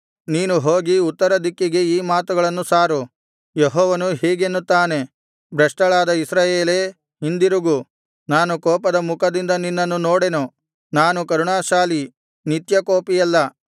ನೀನು ಹೋಗಿ ಉತ್ತರದಿಕ್ಕಿಗೆ ಈ ಮಾತುಗಳನ್ನು ಸಾರು ಯೆಹೋವನು ಹೀಗೆನ್ನುತ್ತಾನೆ ಭ್ರಷ್ಟಳಾದ ಇಸ್ರಾಯೇಲೇ ಹಿಂದಿರುಗು ನಾನು ಕೋಪದ ಮುಖದಿಂದ ನಿನ್ನನ್ನು ನೋಡೆನು ನಾನು ಕರುಣಾಶಾಲಿ ನಿತ್ಯಕೋಪಿಯಲ್ಲ